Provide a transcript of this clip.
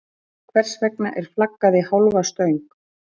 Hvers vegna er flaggað í hálfa stöng?